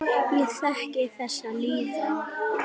Ég þekki þessa líðan.